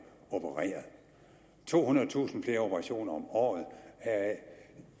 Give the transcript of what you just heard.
opereret tohundredetusind flere operationer om året